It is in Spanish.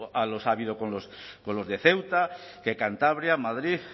los ha habido con los de ceuta que cantabria madrid